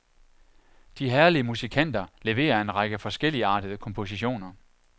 De herlige musikanter leverer en række forskelligartede kompositioner.